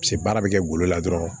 Paseke baara bɛ kɛ golo la dɔrɔnw